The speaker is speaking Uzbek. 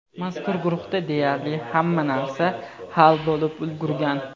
Mazkur guruhda deyarli hamma narsa hal bo‘lib ulgurgan.